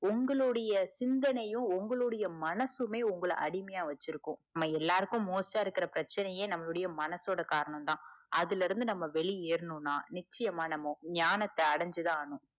உங்களுடைய சிந்தனையும் உங்களுடைய மனுசுமே உங்கள அடிமையா வச்சிருக்கும் நமக்கு எல்லாருக்கும் most ஆஹ் இருக்குற பிரச்சனையே நம்மளோட மனசோட காரணம்தான் அதுல இருந்து வெளிய எர்நும்னா நிச்சியமா ஞானத்த அடிஞ்சுதான் ஆகனும்